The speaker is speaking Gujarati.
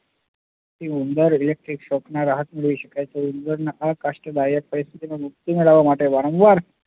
ઉંદર electric shock માં રાહત મેળવી શકાય તે ઉંદર માટે કષ્ટદાયક હોય તેમાંથી મુક્તિ મેળવવા માટે વારંવાર